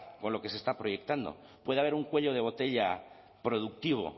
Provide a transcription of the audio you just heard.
con lo que se está proyectando puede haber un cuello de botella productivo